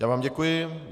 Já vám děkuji.